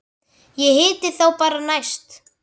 Ég hitti þá bara næst.